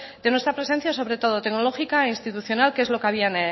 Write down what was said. de nuestra presencia sobre todo tecnológica e institucional que es lo que había